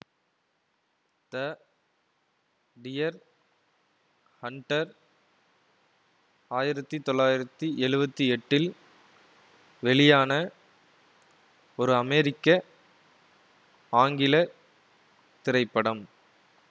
த deer hunter ஆயிரத்தி தொள்ளாயிரத்தி எழுவத்தி எட்டில் வெளியான ஒரு அமெரிக்க ஆங்கில திரைப்படம்